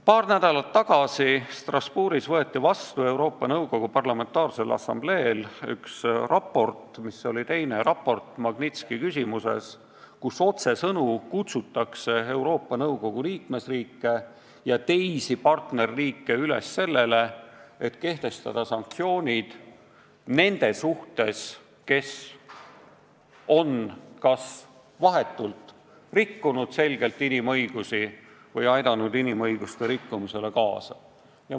Paar nädalat tagasi võeti Strasbourgis Euroopa Nõukogu Parlamentaarsel Assambleel vastu teine raport Magnitski küsimuses, kus otsesõnu kutsuti Euroopa Nõukogu liikmesriike ja partnerriike üles, et kehtestataks sanktsioonid nende vastu, kes on kas vahetult rikkunud inimõigusi või on aidanud inimõiguste rikkumisele kaasa.